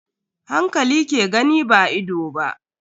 Hankali ke gani ba ido ba.